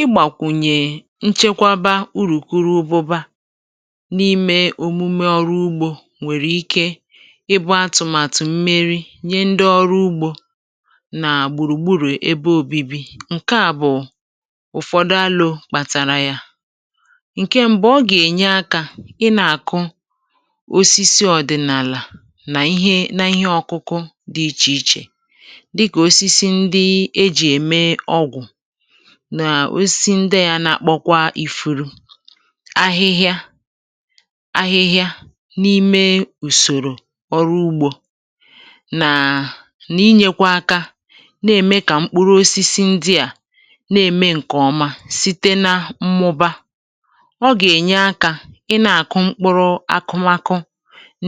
Ịgbàkwùnyè nchekwaba urùkurubụba n’ime òmume ọrụ ugbȯ nwèrè ike ịbụ atụ̀màtụ̀ mmeri nye ndi ọrụ ugbȯ na gbùrùgburù ebe obibi. Nke à bụ̀ ụ̀fọdụ alo kpàtàrà ya: Nke ṁbụ̇ ọ gà-ènye akȧ ị nà-àkụ osisi ọ̀dị̀nàlà nà ihe nà ihe ọ̇kụ̇kụ̇ dị ichè ichè dịka osisi ndị eji eme ọgwụ na osisi ndị a na-akpọkwa ifu̇ru, ahịhịa ahịhịa n’ime ùsòrò ọrụ ugbȯ nàà n’inyėkwa aka nà-ème kà mkpụrụ osisi ndị à nà-ème ǹkè ọma site na mmụba. Ọ gà-ènye akȧ ị na-àkụ mkpụrụ akụmakụ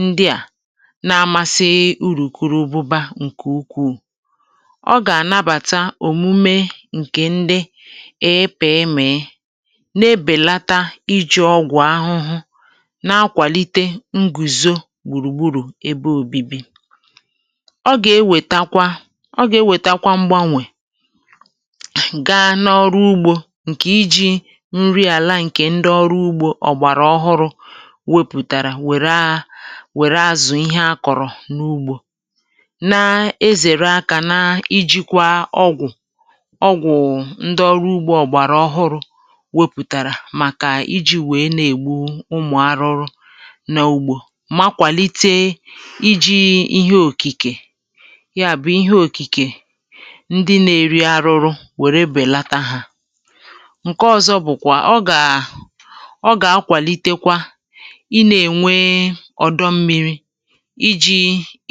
ndị à na-amȧsị urùkurubụba ǹkè ukwuu. Ọ gà-ànabàta omume nke ndị ịpịmị na-ebèlata iji̇ ọgwụ̀ ahụhụ na-akwàlite ngùzo gbùrùgbùrù ebe òbibi. Ọgà-ewètakwa ọgà-ewètakwa mgbanwè gaa n’ọrụ ugbȯ ǹkè iji̇ nri àla ǹkè ndị ọrụ ugbȯ ọ̀gbàrà ọhụrụ̇ wepùtàrà wère a wère azụ̀ ihe a kọ̀rọ̀ n’ugbȯ, na-ezère akȧ na-ijikwa ọgwụ̀ ọgwụ ndị ọrụ ugbȯ ọ̀gbàrà ọhụrụ̇ wepùtàrà màkà iji̇ wèe na-ègbu ụmụ̀ arụrụ na ugbȯ makwàlite iji̇ ihe òkìkè, ya bụ̀ ihe òkìkè ndị na-eri arụrụ nwèrè bèlata hà. Nke ọ̇zọ̇ bụ̀kwà; ọ gà ọ gà-akwàlitekwa ị nà-ènwe ọ̀dọ mmiri̇ iji̇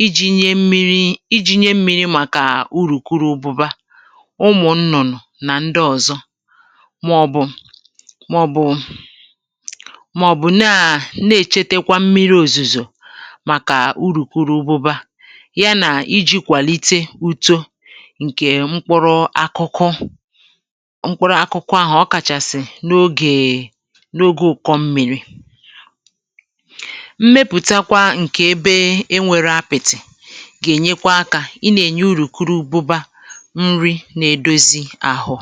iji̇ nye mmiri iji̇ nye mmiri màkà urùkurububa, ụmụ nnụnụ na ndị ọzọ maọ̀bụ̀ maọ̀bụ̀ maọ̀bụ̀ naa na-èchetekwa mmiri òzùzò màkà urùkurubụba yà nà iji̇ kwàlite uto ǹkè mkpụrụ akụkụ mkpụrụ akụkụ ahụ ọkàchàsị̀ n’ogèè n’oge ụ̀kọ mmi̇ri. Mmepùtakwa ǹkè ebe e nwere apị̀tì gà-ènyekwa akȧ ị nà-ènye urùkurubụba nri n’edozi ahụ.